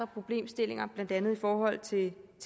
problemstillinger blandt andet i forhold til